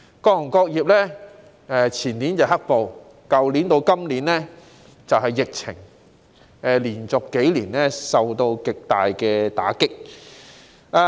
各行各業前年經歷"黑暴"，加上去年至今的疫情，連續數年遭受極大打擊。